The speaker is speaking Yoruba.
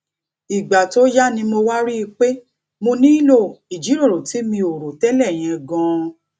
ìgbà tó yá ni mo wá rí i pé mo nílò ìjíròrò tí mi ò rò télè yẹn ganan